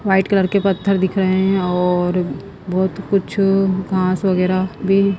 white colour के पत्थर दिख रहे हैं और बहुत कुछ घास वगैरह भी--